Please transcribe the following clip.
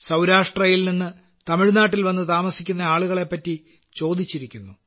സൌരാഷ്ട്രയിൽനിന്ന് തമിഴ്നാട്ടിൽവന്നു താമസിക്കുന്ന ആളുകളെപ്പറ്റി ചോദഗിച്ചിരിക്കുന്നു